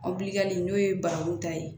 n'o ye baranku ta ye